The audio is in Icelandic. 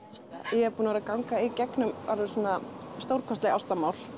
ég er búin að vera að ganga í gegnum bara svona stórkostleg ástarmál